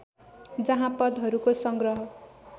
जहाँ पदहरूको संग्रह